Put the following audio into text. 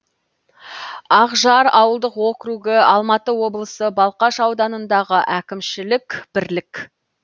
ақжар ауылдық округі алматы облысы балқаш ауданындағы әкімшілік бірлік